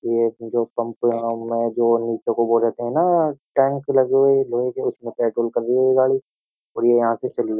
ये जो पंप में जो नीचे को बोलेते हैं ना टैंक लगे हुए लोहे के उसमें पेट्रोल कर रही है ये गाड़ी और ये यहां से चली --